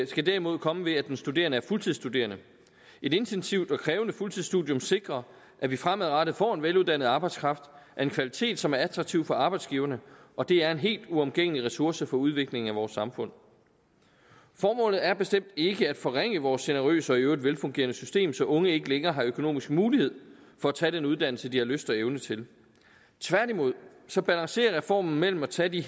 skal derimod komme ved at den studerende er fuldtidsstuderende et intensivt og krævende fuldtidsstudium sikrer at vi fremadrettet får en veluddannet arbejdskraft af en kvalitet som er attraktiv for arbejdsgiverne og det er en helt uomgængelig ressource for udviklingen af vores samfund formålet er bestemt ikke at forringe vores generøse og i øvrigt velfungerende system så unge ikke længere har økonomisk mulighed for at tage den uddannelse de her lyst og evner til tværtimod balancerer reformen mellem at tage de